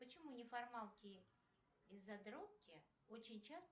почему неформалки и задротки очень часто